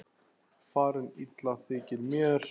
Farin illa þykir mér.